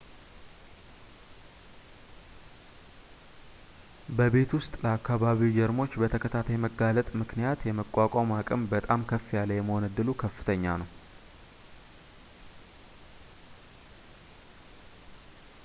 በቤት ውስጥ ለአከባቢው ጀርሞች በተከታታይ መጋለጥ ምክንያት የመቋቋም አቅም በጣም ከፍ ያለ የመሆን እድሉ ከፍተኛ ነው